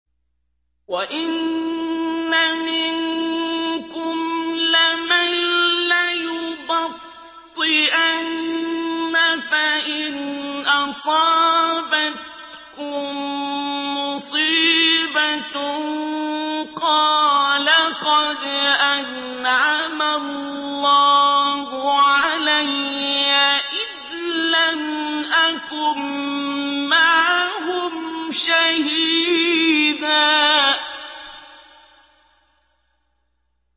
وَإِنَّ مِنكُمْ لَمَن لَّيُبَطِّئَنَّ فَإِنْ أَصَابَتْكُم مُّصِيبَةٌ قَالَ قَدْ أَنْعَمَ اللَّهُ عَلَيَّ إِذْ لَمْ أَكُن مَّعَهُمْ شَهِيدًا